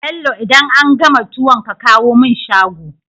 Bello idan an gama tuwon ka kawo mun shago